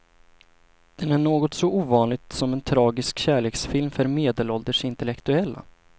Den är något så ovanligt som en tragisk kärleksfilm för medelålders intellektuella.